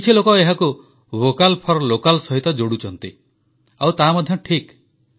କିଛି ଲୋକ ଏହାକୁ ଭୋକାଲ ଫର ଲୋକାଲ ସହିତ ଯୋଡ଼ୁଛନ୍ତି ଆଉ ତାହା ଠିକ୍ ମଧ୍ୟ